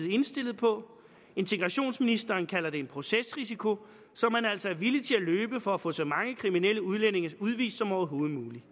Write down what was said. og indstillet på integrationsministeren kalder det en procesrisiko som man altså er villig til at løbe for at få så mange kriminelle udlændinge udvist som overhovedet muligt